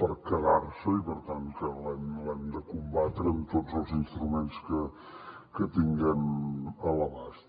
per quedar se i per tant que l’hem de combatre amb tots els instruments que tinguem a l’abast